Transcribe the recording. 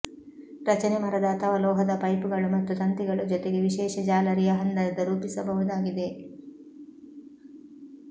ರಚನೆ ಮರದ ಅಥವಾ ಲೋಹದ ಪೈಪ್ಗಳು ಮತ್ತು ತಂತಿಗಳು ಜೊತೆಗೆ ವಿಶೇಷ ಜಾಲರಿಯ ಹಂದರದ ರೂಪಿಸಬಹುದಾಗಿದೆ